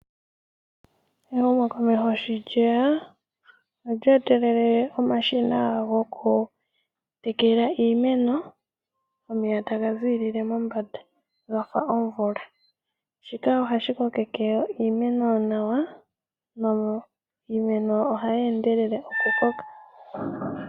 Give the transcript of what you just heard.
Ehumokomeho sho lyeya olyeetelele omashina gokutekela iimeno omeya taga ziilile mombanda ga fa omvula shika oha shi kokeke iimeno nawa niimeno oha yeendelele okukoka.